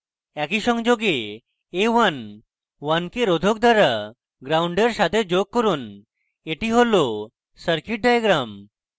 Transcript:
একই সংযোগে a11k রোধক দ্বারা gnd in সাথে যোগ করুন এটি হল circuit diagram